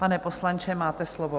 Pane poslanče, máte slovo.